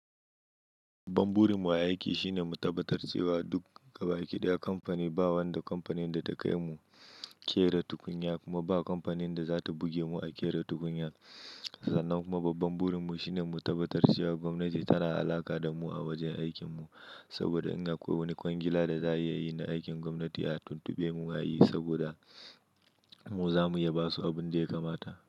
Babban burin mu a aiki shine mu tabbatar cewa duk gaba ɗaya kamfani ba wanda kamfanin da ta kai mu ƙera tukunya kuma ba kamfanin da za ta buge mu a ƙera tukunya. Sannan kuma babban burin mu shine mu tabbatar cewa gwamnati tana alaƙa da mu a wajen aikin mu. Saboda in akwai wani kwangila da za a yi na aikin gwamnati a tuntube mu a yi, saboda mu za mu iya basu abin da ya kamata.